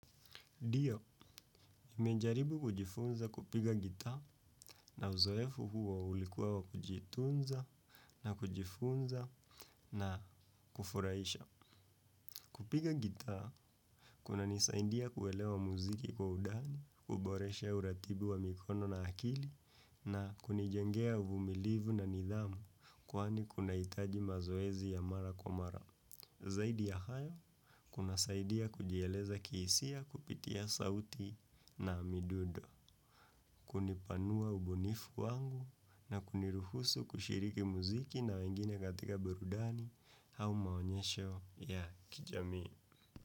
Ndio, nimejaribu kujifunza kupiga gitaa, na uzoefu huo ulikua wa kujitunza, na kujifunza na kufurahisha. Kupiga gitaa, kuna nisaidia kuelewa muziki kwa udani, kuboresha uratibu wa mikono na akili na kunijengea uvumilivu na nidhamu, kwani kunahitaji mazoezi ya mara kwa mara. Zaidi ya hayo, kuna saidia kujieleza kihisia kupitia sauti na midudo. Kunipanua ubunifu wangu na kuniruhusu kushiriki muziki na wengine katika berudani au maonyesho ya kijamii.